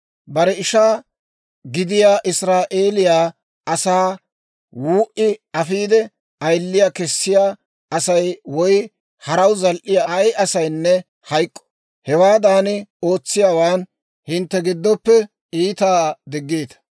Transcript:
«Bare ishaa gidiyaa Israa'eeliyaa asaa wuu"i afiide, ayiliyaa kessiyaa Asay woy haraw zal"iyaa ay asaynne hayk'k'o. Hewaadan ootsiyaawaan hintte giddoppe iitaa diggiita.